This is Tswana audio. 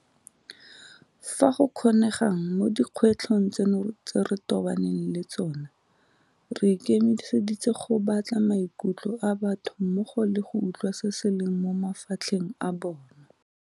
Fa go kgonegang mo dikgwetlhong tseno tse re tobaneng le tsona, re ikemiseditse go batla maikutlo a batho mmogo le go utlwa se se leng mo mafatlheng a bona.